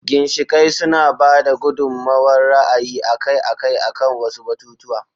ginshiƙai suna ba da gudummawar ra'ayi akai-akai akan wasu batutuwa.